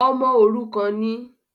“ọmọ òrukàn” ni?